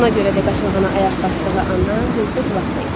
Buna görə də qaçağana ayaq basdığı andan gözdə qulaqda idi.